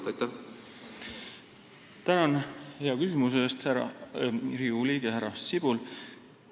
Tänan hea küsimuse eest, Riigikogu liige härra Sibul!